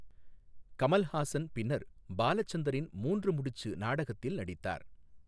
கமல்ஹாசன் பின்னர் பாலசந்தரின் 'மூன்று முடிச்சு' நாடகத்தில் நடித்தார்.